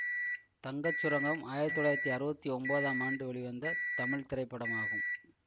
தங்கச் சுரங்கம் ஆயிரத்தி தொள்ளாயிரத்தி அறுபத்தி ஒன்பதாம் ஆண்டு வெளிவந்த தமிழ் திரைப்படமாகும்